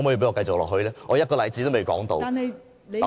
我連一個例子也未提出......